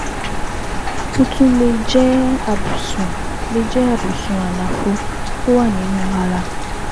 Ó tún lè jẹ́ àbùsùn lè jẹ́ àbùsùn àlàfo tó wà nínú ara